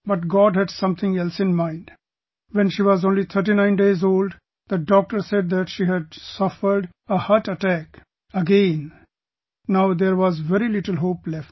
But God had something else in mind, when she was only 39 days old, the doctor said that she had suffered a heart attack again, now there was very little hope left